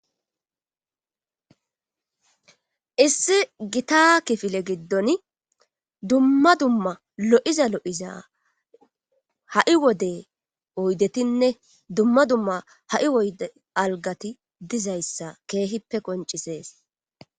issi gita kifile giddon dumma dumma lo7iza lo7iza ha7i wode oydetinne dumma dumma ha7i woyde algati dizayssa keehippe koncisees